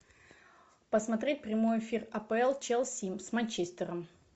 посмотреть прямой эфир апл челси с манчестером